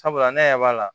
Sabula ne yɛrɛ b'a la